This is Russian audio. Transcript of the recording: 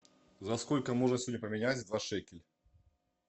за сколько можно сегодня поменять два шекеля